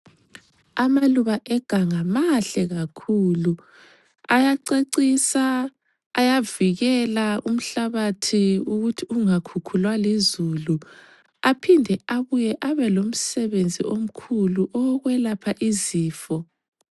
Amaluba eganga mahle kakhulu ayacecisa, ayavikela umhlabathi ukuthi ungakhukhulwa lizulu aphinde abuye abelomsebenzi omkhulu owokwelapha izifo.